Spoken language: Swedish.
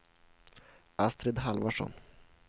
Astrid Halvarsson